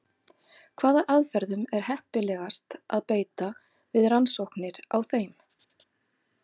Hvaða aðferðum er heppilegast að beita við rannsóknir á þeim?